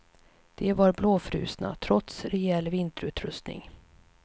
De var blåfrusna, trots rejäl vinterutrustning.